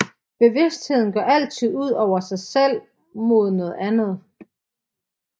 Bevidstheden går altid ud over sig selv mod noget andet